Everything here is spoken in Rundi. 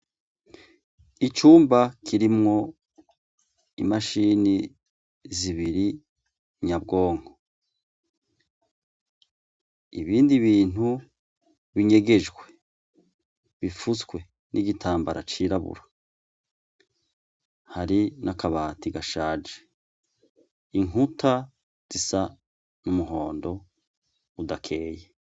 Icumba kirimwo imashini zibiri nyabwonko. Ibindi bintu binyegejwe, bipfutswe n'igitambara cirabura, hari n'akabati gashaje, inkuta zisa n'umuhondo udakeye.